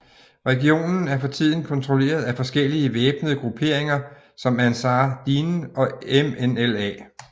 Regionen er for tiden kontrolleret af forskellige væbnede grupperinger som Ançar Dine og MNLA